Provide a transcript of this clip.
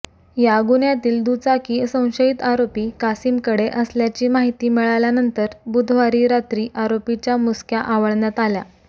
या गुन्ह्यातील दुचाकी संशयीत आरोपी कासीमकडे असल्याची माहिती मिळाल्यानंतर बुधवारी रात्री आरोपीच्या मुसक्या आवळण्यात आल्या